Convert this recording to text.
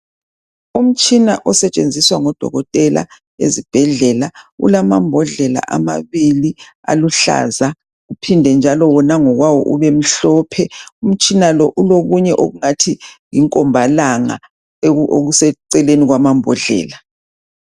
Umtshina osetshenziswa ngodokotela ezibhedlela, ulamambodlela amabili aluhlaza uphinde njalo wona ngokwawo ubemhlophe. Umtshina lo ulokunye okungathi yinkombalanga okuseceleni kwamambodlela.